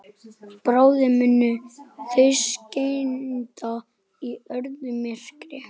Bráðum munu þau synda í öðru myrkri.